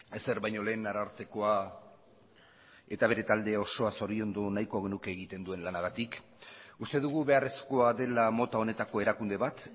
ezer baino lehen arartekoa eta bere talde osoa zoriondu nahiko genuke egiten duen lanagatik uste dugu beharrezkoa dela mota honetako erakunde bat